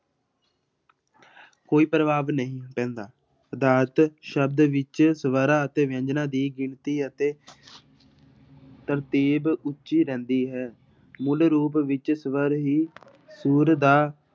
ਕੋਈ ਪ੍ਰਭਾਵ ਨਹੀਂ ਪੈਂਦਾ, ਪਦਾਰਥ ਸ਼ਬਦ ਵਿੱਚ ਸਵਰਾਂ ਅਤੇ ਵਿਅੰਜਨਾਂ ਦੀ ਗਿਣਤੀ ਅਤੇ ਤਰਤੀਬ ਉੱਚੀ ਰਹਿੰਦੀ ਹੈ ਮੂਲ ਰੂਪ ਵਿੱਚ ਸਵਰ ਹੀ ਸੁਰ ਦਾ